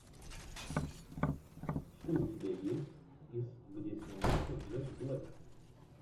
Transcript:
что у тебя есть из где снимался джек блэк